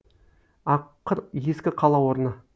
аққыр ескі қала орны